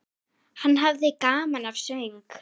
Hann hafði gaman af söng.